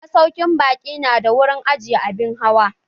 Masaukin baƙi nada wurin ajiye abin hawa.